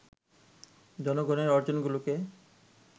জনগণের অর্জনগুলোকে